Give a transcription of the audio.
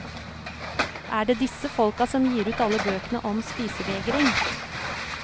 Er det disse folka som gir ut alle bøkene om spisevegring?